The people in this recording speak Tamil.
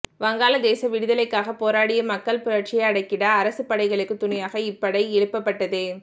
வங்காள தேச விடுதலைக்காகப் போராடிய மக்கள் புரட்சியை அடக்கிட அரசுப் படைகளுக்குத் துணையாக இப்படை எழுப்பப் பட்டது